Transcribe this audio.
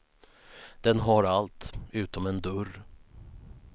Den har allt, utom en dörr.